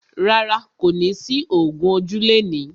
Rárá, kò ní sí ògún ojú lẹni.